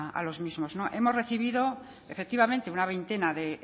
a los mismos hemos recibido efectivamente una veintena de